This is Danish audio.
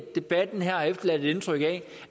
debatten her har efterladt et indtryk af